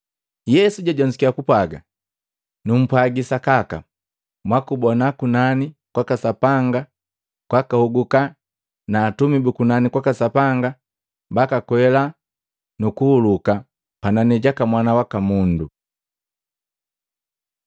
Yesu jajonzukiya kupwaji, “Numpwaji sakaka, mwakubona kunani kwaka Sapanga kwakahoguka na Atumi bu kunani kwaka Sapanga bakakwela nukuhuluka panani jaka Mwana waka Mundu.”